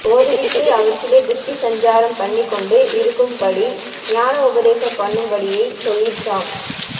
ஓதுவித்து அவற்றிலே புத்தி சஞ்சாரம் பண்ணிக் கொண்டு இருக்கும் படி ஞான உபதேசம் பண்ணும் படியை சொல்லிற்றாம்